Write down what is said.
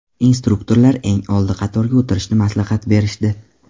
Instruktorlar eng oldi qatorga o‘tirishni maslahat berishdi.